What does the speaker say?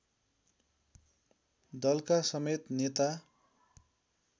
दलका समेत नेता